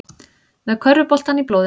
Með körfuboltann í blóðinu